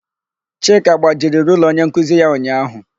Chika gbajiri rula onyenkuzi ya ụnyaahụ.